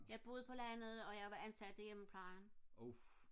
jeg boede på landet og jeg var ansat i hjemmeplejen